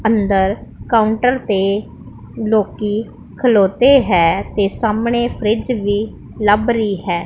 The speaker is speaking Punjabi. ਅੰਦਰ ਕਾਂਊਟਰ ਤੇ ਲੋਕੀ ਖਲੌਤੇ ਹੈਂ ਤੇ ਸਾਹਮਣੇ ਫ੍ਰਿੱਜ ਵੀ ਲੱਭ ਰਹੀ ਹੈ।